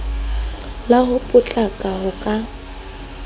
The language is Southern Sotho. la ho potlaka ho ka